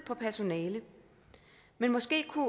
på personale men måske kunne